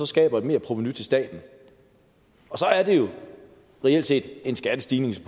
skaber et merprovenu til staten og så er det jo reelt set en skattestigning for